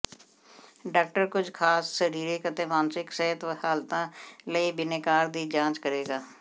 doctor ਕੁਝ ਖਾਸ ਸਰੀਰਕ ਅਤੇ ਮਾਨਸਿਕ ਸਿਹਤ ਹਾਲਤਾਂ ਲਈ ਬਿਨੈਕਾਰ ਦੀ ਜਾਂਚ ਕਰੇਗਾ